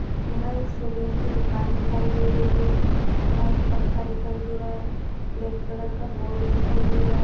यहा एक सैलून की दुकान दे रही है। यहा एक पंखा दिखाई दे र है ब्लॅक कलर का बोर्ड दिखाई दे रहा है।